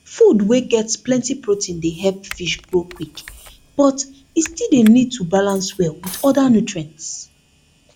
food wey get plenty protein dey help fish grow quick but e still need to balance well with other nutrients